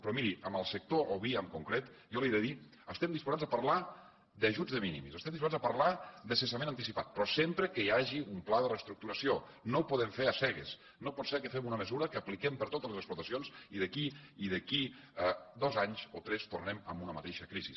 però miri en el sector oví en concret jo li he de dir que estem disposats a parlar d’ajuts de minimis estem disposats a parlar de cessament anticipat però sempre que hi hagi un pla de reestructuració no ho podem fer cegues no pot ser que fem una mesura que apliquem per a totes les explotacions i d’aquí a dos anys o tres tornem amb una mateixa crisi